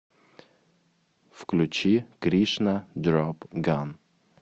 включи кришна дропган